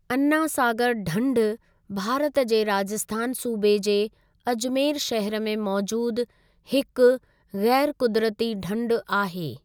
अना सागर ढंढ भारत जे राजस्थान सूबे जे अजमेर श़हर में मौज़ूद हिक ग़ैर क़ुदरती ढंढ आहे।